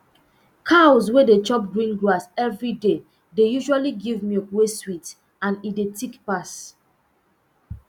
cows wey dey chop green grass every day dey usually give milk wey sweet and e de thick pass